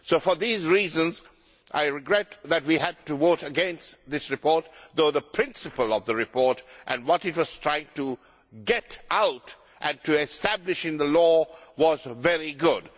So for these reasons, I regret that we had to vote against this report, although the principle of the report and what it was trying to get out and establish in the law was very good.